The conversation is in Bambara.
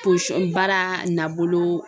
baara nabolo